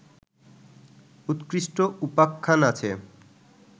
উৎকৃষ্ট উপাখ্যান আছে